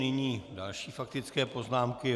Nyní další faktické poznámky.